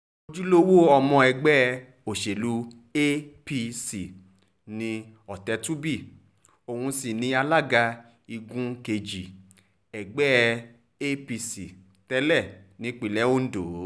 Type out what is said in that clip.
ojúlówó ọmọ ẹgbẹ́ òsèlú apc ni ọ̀tẹ̀tùbí òun sì ni alága igun kejì ẹgbẹ́ apc tẹ́lẹ̀ nípínlẹ̀ ondo